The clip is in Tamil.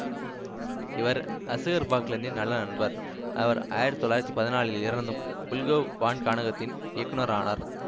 இவர் அசுகார் பாக்லந்தின் நல்ல நண்பர் அவர் ஆயிரத்தி தொள்ளாயிரத்தி பதினாலில் இறந்த்தும் புல்கோவ் வான்காணகத்தின் இயக்குநரானார்